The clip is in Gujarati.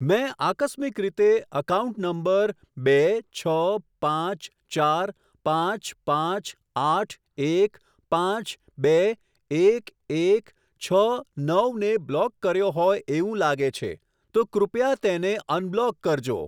મેં આકસ્મિક રીતે એકાઉન્ટ નંબર બે છ પાંચ ચાર પાંચ પાંચ આઠ એક પાંચ બે એક એક છ નવ ને બ્લોક કર્યો હોય એવું લાગે છે, તો કૃપયા તેને અનબ્લોક કરજો.